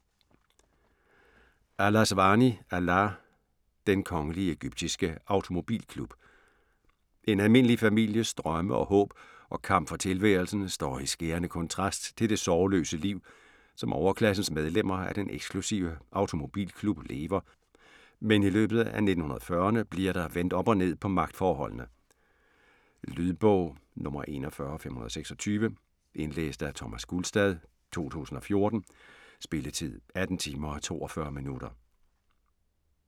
Al Aswany, Alaa: Den Kongelige Egyptiske Automobilklub En almindelig families drømme og håb og kamp for tilværelsen står i skærende kontrast til det sorgløse liv, som overklassens medlemmer af den eksklusive automobilklub lever, men i løbet af 1940'erne bliver der vendt op og ned på magtforholdene. Lydbog 41526 Indlæst af Thomas Gulstad, 2014. Spilletid: 18 timer, 42 minutter.